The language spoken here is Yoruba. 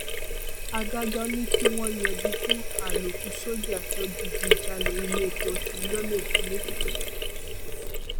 adájọ́ ní kí wọ́n yẹgi fún àlòkù sójà tó digun ja iléepo lólè lékìtì